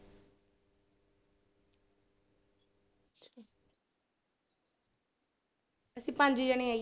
ਅਸੀਂ ਪੰਜ ਜਾਣੇ ਆਂ ਜੀ।